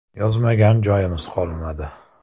Yozmagan joyimiz qolmadi.